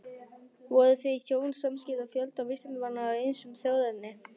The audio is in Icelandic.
Voru þau hjón samskipa fjölda vísindamanna af ýmsu þjóðerni.